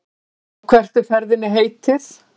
Og hvert er ferðinni heitið?